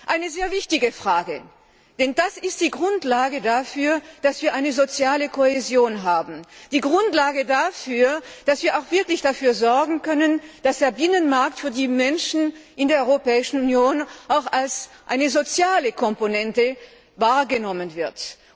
Sie ist eine sehr wichtige Frage, denn sie ist die Grundlage dafür, dass wir eine soziale Kohäsion haben, die Grundlage dafür, dass wir wirklich dafür sorgen können, dass der Binnenmarkt von den Menschen in der Europäischen Union auch als eine soziale Komponente wahrgenommen wird.